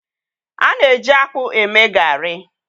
a na-eji akpu eme garri